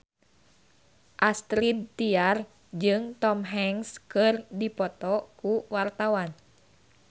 Astrid Tiar jeung Tom Hanks keur dipoto ku wartawan